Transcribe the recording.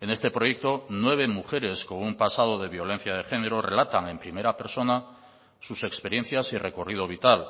en este proyecto nueve mujeres con un pasado de violencia de género relatan en primera persona sus experiencias y recorrido vital